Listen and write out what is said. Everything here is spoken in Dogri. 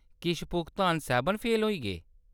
किश भुगतान सैह्‌‌‌बन फेल होई गे ?